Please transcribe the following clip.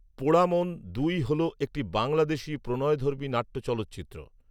পোড়ামন দুই হল একটি বাংলাদেশী প্রণয়ধর্মী নাট্য চলচ্চিত্র